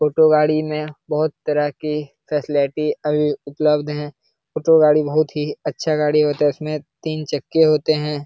Auto गाड़ी में बहुत तरह के फैसिलेटी अभी उपलब्ध है। ऑटो गाड़ी बहुत ही अच्छा गाड़ी होता है। इसमें तीन चक्के होते है।